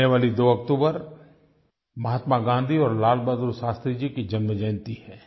आने वाली 2 अक्टूबर महात्मा गाँधी और लाल बहादुर शास्त्री जी की जन्म जयंती है